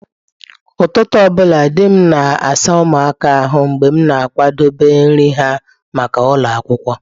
Ụtụtụ ọbụla, di m na-asa ụmụaka ahụ mgbe m na-akwadebe nri ha maka ụlọ akwụkwọ.